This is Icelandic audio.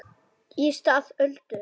Í stað Öldu